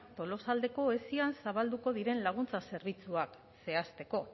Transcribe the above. tolosaldeko esian zabalduko diren laguntza zerbitzuak zehazteko